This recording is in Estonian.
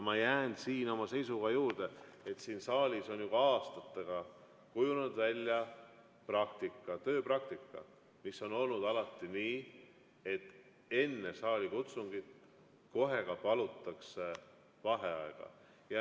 Ma jään oma seisukoha juurde, et siin saalis on juba aastatega kujunenud välja tööpraktika, mis on olnud alati selline, et enne saalikutsungit palutakse kohe ka vaheaega.